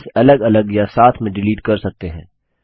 sheets अलग अलग या साथ में डिलीट कर सकते हैं